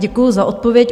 Děkuji za odpověď.